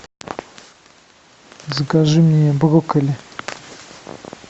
закажи мне брокколи